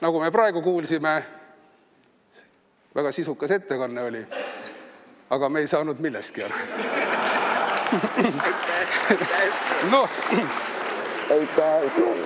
Nagu me praegu kuulsime, väga sisukas ettekanne oli, aga me ei saanud millestki aru.